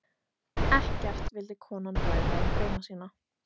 Ekkert vildi konan ræða um drauma sína.